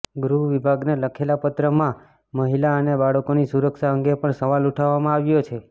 ગૃહ વિભાગને લખેલા પત્રમાં મહિલા અને બાળકોની સુરક્ષા અંગે પણ સવાલ ઉઠાવવામાં આવ્યો છે